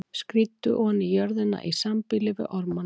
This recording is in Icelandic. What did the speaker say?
Skríddu oní jörðina í sambýli við ormana.